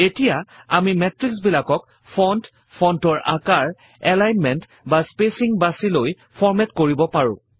এতিয়া আমি মেত্ৰিক্সবিলাকক ফন্ট ফন্টৰ আকাৰ এলাইনমেন্ট বা স্পেচিং বাছি লৈ ফৰমেট কৰিব পাৰো